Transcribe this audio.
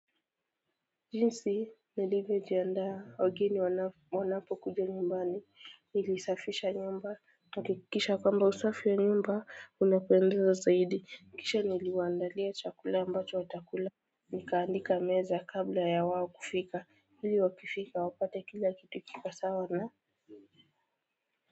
Jinsi nilivyojiandaa wageni wanapo wanapo kuja nyumbani nilisafisha nyumba hakikisha kwamba usafi wa nyumba unapendeza zaidi kisha niliwaandalia chakula ambacho watak ula. Nikaandika meza kabla ya wao kufika ili wakifika wapate kila kitu kiko sawa na.